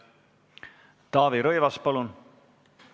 Taavi Rõivas, palun!